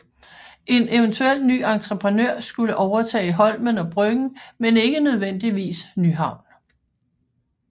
En eventuel ny entreprenør skulle overtage Holmen og Bryggen men ikke nødvendigvis Nyhavn